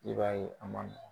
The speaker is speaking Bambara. I b'a ye, a man